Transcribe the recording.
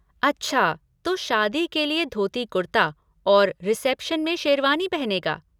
अच्छा तो शादी के लिए धोती कुर्ता और रिसेप्शन में शेरवानी पहनेगा।